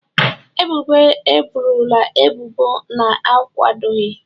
Ebubo abụrụla ebubo na-akwadoghị.